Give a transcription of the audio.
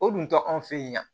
O dun tɛ anw fe ye wa